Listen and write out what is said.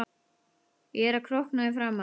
Ég er að krókna í framan.